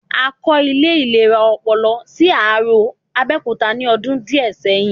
A kọ́ ilé ìlera ọpọlọ sí Arò, Abẹ́òkúta ní ọdún díẹ̀ sẹ́yìn